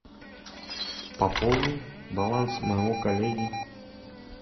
пополни баланс моего коллеги